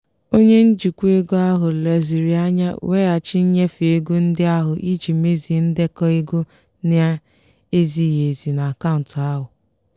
onye njikwa ego ahụ lezirianya weghachi nnyefe ego ndị ahụ iji mezie ndekọ ego na-ezighị ezi n'akaụntụ ahụ.